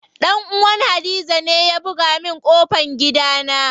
Dan uwan hadiza ne ya buga min ƙofan gidana.